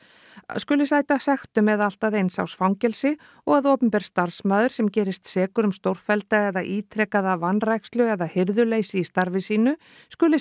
skuli sæta sektum eða allt að eins árs fangelsi og að opinber starfsmaður sem gerist sekur um stórfellda eða ítrekaða vanrækslu eða hirðuleysi í starfi sínum skuli